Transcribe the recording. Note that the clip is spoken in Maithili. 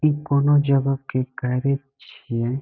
ई कौनो जगह के गैरेज छिए।